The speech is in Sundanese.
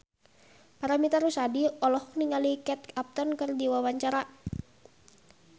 Paramitha Rusady olohok ningali Kate Upton keur diwawancara